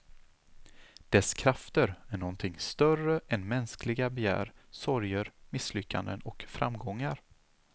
Dess krafter är någonting större än mänskliga begär, sorger, misslyckanden och framgångar.